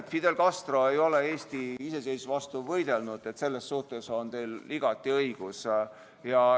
Tõepoolest, Fidel Castro ei ole Eesti iseseisvuse vastu võidelnud, selles on teil igati õigus.